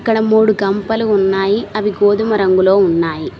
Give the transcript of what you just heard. ఇక్కడ మూడు కంపలు ఉన్నాయి అవి గోధుమ రంగులో ఉన్నాయి.